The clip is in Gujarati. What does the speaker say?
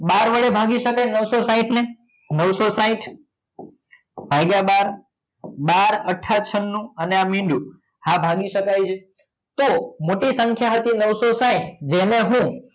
બાર વડે ભાગી સકાય નવસો સાહીંઠ ને નવસો સાહીંઠ ભાગ્યા બાર બાર અથા છન્નું અને આ મીંડું હા ભાગી શકાય છે તો મોટી સંખ્યા સાથે નવસો સાહીંઠ જેને હું